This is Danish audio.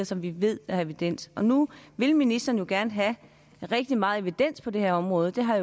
som vi ved der er evidens for og nu vil ministeren gerne have rigtig meget evidens på det her område det har